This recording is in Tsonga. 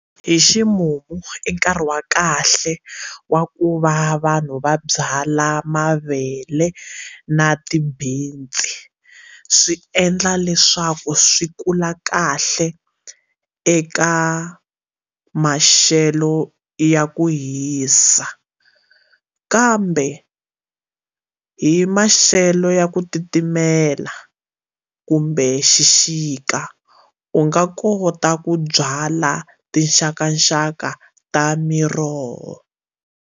Hi ximumu i nkarhi wa kahle wa ku va vanhu va byala mavele na ti-beans swi endla leswaku swi kula kahle eka maxelo ya ku hisa kambe hi maxelo ya ku titimela kumbe xixika u nga kota ku byala tinxakaxaka ta miroho.